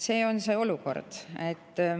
See on see olukord.